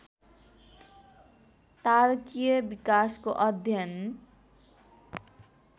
तारकीय विकासको अध्ययन